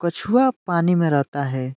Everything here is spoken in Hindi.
कछुआ पानी में रहता है।